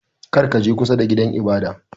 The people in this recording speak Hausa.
Kar ka je kusa da gidan ibada!